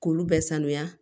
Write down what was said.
K'olu bɛɛ sanuya